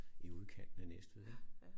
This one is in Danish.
I udkanten af Næstved ik